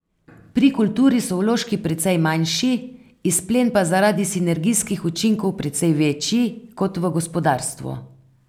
Pri kulturi so vložki precej manjši, izplen pa zaradi sinergijskih učinkov precej večji, kot v gospodarstvu .